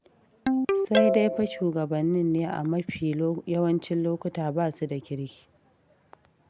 Sai dai fa shugabannin ne a mafi yawancin lokuta ba su da kirki.